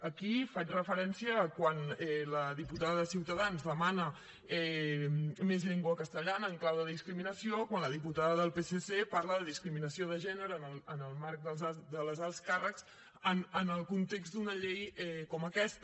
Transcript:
aquí faig referència a quan la diputada de ciutadans demana més llengua castellana en clau de discriminació quan la diputada del psc parla de discriminació de gènere en el marc dels alts càrrecs en el context d’una llei com aquesta